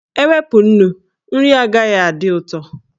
E wepụ nnu, nri agaghị adị ụtọ.